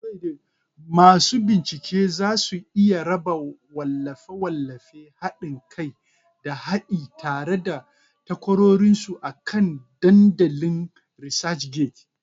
Masu bincike za su iya raba wallafe-wallafe, haɗin kai, da haɗi tare da takwarorinsu akan dandalin ResearchGates.